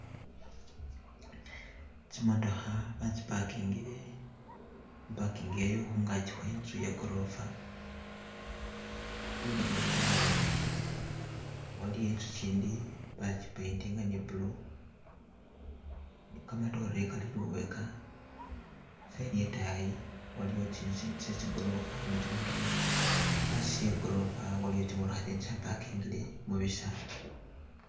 Tsimootokha batsi parkhingile mu parking yayo khungagi khwenzu ya gorofa lubega lwadayi waliwo inzu gindi bagi paint inga ni blue gamadore gali lubega side yadayi waliwo tsinzu tsind tse zigorofa ni tsi mootoka hasi hegorofa waliwo tsi mootoka tsindi tsa parking ile mubisaala.